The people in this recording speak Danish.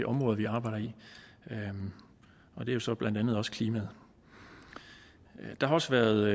områder vi arbejder i og det er så blandt andet også klimaet der har også været